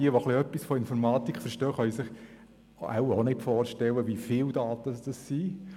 Jene, die auch nur etwas von Informatik verstehen, können sich wohl auch nicht vorstellen, wie viele Daten das sind.